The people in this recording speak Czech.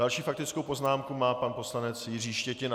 Další faktickou poznámku má pan poslanec Jiří Štětina.